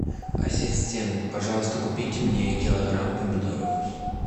ассистент пожалуйста купите мне килограмм помидоров